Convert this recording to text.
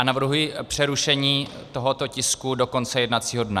A navrhuji přerušení tohoto tisku do konce jednacího dne.